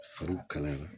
Fariw kalaya